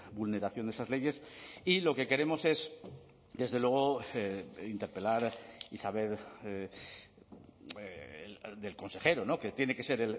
vulneración de esas leyes y lo que queremos es desde luego interpelar y saber del consejero que tiene que ser